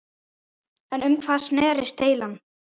En um hvað snerist deilan?